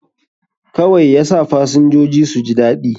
Kawai yasa fasinjoji suji daɗi